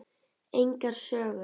Engar sögur.